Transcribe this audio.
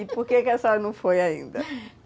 E por que a sala não foi ainda?